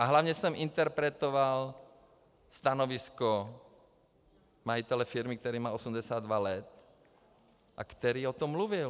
A hlavně jsem interpretoval stanovisko majitele firmy, který má 82 let a který o tom mluvil.